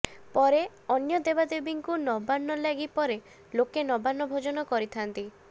ପରେ ଅନ୍ୟ ଦେବାଦେବୀଙ୍କୁ ନବାନ୍ନଲାଗି ପରେ ଲୋକେ ନବାନ୍ନ ଭୋଜନ କରିଥାନ୍ତି